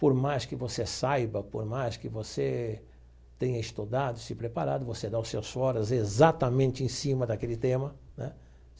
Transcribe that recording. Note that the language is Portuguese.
Por mais que você saiba, por mais que você tenha estudado, se preparado, você dá os seus foras exatamente em cima daquele tema.